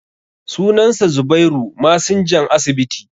sunansa zubairu masinjan asibiti